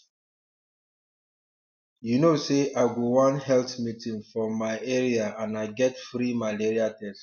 you know say i go one health meeting for my area and i get free malaria test